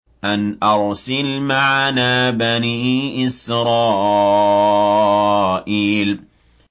أَنْ أَرْسِلْ مَعَنَا بَنِي إِسْرَائِيلَ